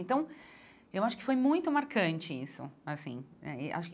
Então, eu acho que foi muito marcante isso assim eh e acho que.